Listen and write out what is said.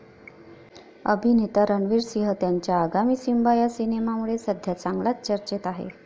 अभिनेता रणवीर सिंह त्याच्या आगामी सिम्बा या सिनेमामुळे सध्या चांगलाच चर्चेत आहे.